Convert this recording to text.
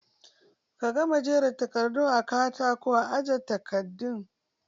Ka gama jera takardun a katako aje takardu?